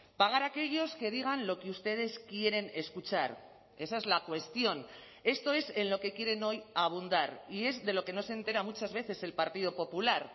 pagar a aquellos que digan lo que ustedes quieren escuchar esa es la cuestión esto es en lo que quieren hoy abundar y es de lo que no se entera muchas veces el partido popular